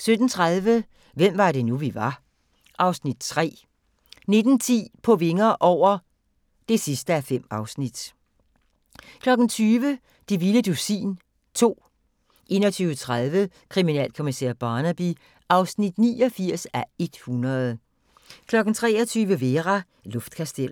17:30: Hvem var det nu, vi var (Afs. 3) 19:10: På vinger over (5:5) 20:00: Det vilde dusin 2 21:30: Kriminalkommissær Barnaby (89:100) 23:00: Vera: Luftkasteller